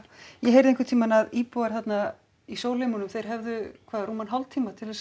ég heyrði einhvern tímann að íbúar þarna í þeir hefðu hvað rúman hálftíma til